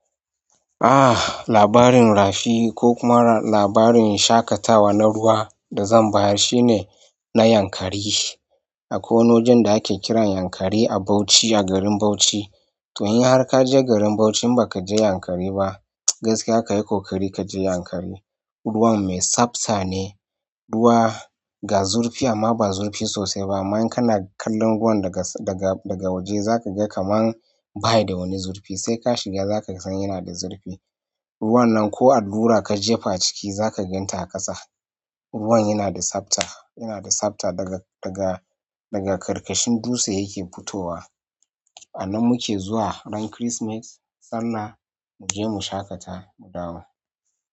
Ah labarin rafi ko kuma labarin shaƙatawa na ruwa da zan bayar shine na Yankari. Akwai wani wajen da ake kiran Yankari a Bauchi a garin Bauchi. To in har kaje garin Bauchi in ba ka je Yankari ba gaskiya kayi ƙoƙari ka je Yankari. Ruwan mai tsabta ne, ruwa ga zurfi amma ba zurfi sosai ba. Aman kana kallon ruwan daga, daga waje za ka ga kamar bayi da wani zurfi sai ka shiga za ka san yana da zurfi. Ruwan nan ko allura ka jefa ciki za ka ganta a ƙasa. Ruwan yana da tsabta, yana da tsabta daga, daga ƙarƙashin dutse yake fitowa. Nan muke zuwa ran Christmas sallah muje mu shaƙata mu dawo.